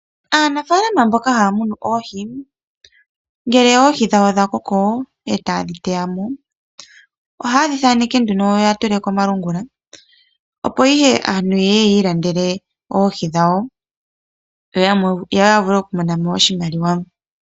Aanafalama mboka haya munu oohi ngele oohi dhawo dha koko e taye dhi teya mo, ohaye dhi thaneke nduno ya tule komalungula opo ihe aantu ye ye ya ilandele oohi dhawo. Yo ya vule okumona mo oshimaliwa.